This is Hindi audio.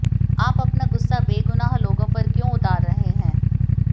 आप अपना गुस्सा बेगुनाह लोगों पर क्यों उतार रहे हैं